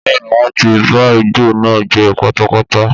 Bẹ́ẹ̀ni wọn ti ba igbó náà jẹ́ pátápátá